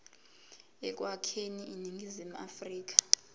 ekwakheni iningizimu afrika